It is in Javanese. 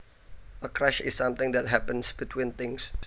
A crash is something that happens between things